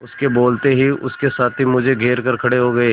उसके बोलते ही उसके साथी मुझे घेर कर खड़े हो गए